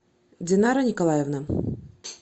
динара николаевна